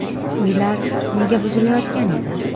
Uylar nega buzilayotgan edi?.